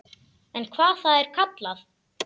Eða hvað það er kallað.